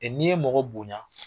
I n'i ye mɔgɔ bonya